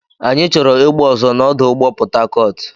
Anyị chọrọ egbe ọzọ na ọdụ ụgbọ Port Harcourt.